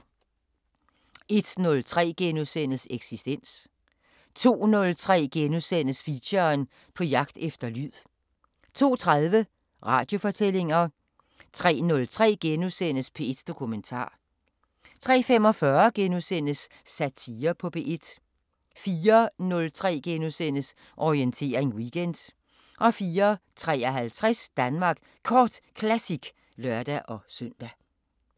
01:03: Eksistens * 02:03: Feature: På jagt efter lyd * 02:30: Radiofortællinger 03:03: P1 Dokumentar * 03:45: Satire på P1 * 04:03: Orientering Weekend * 04:53: Danmark Kort Classic (lør-søn)